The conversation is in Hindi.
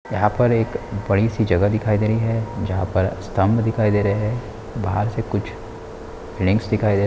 एक बड़ी-सी जगह दिखाई दे रही है जहां पर स्तंभ दिखाई दे रहे हैं बाहर से कुछ बिल्डिंगस दिखाई दे रहे है।